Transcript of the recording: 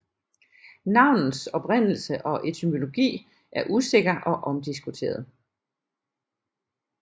Navnets oprindelse og etymologi er usikker og omdiskuteret